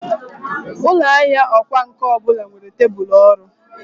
Ụlọ ahịa ọkwá nkà ọ bụla nwere tebụl ọrụ.